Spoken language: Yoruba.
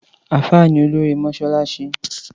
Àfá ní òlòrí mọsàlàṣí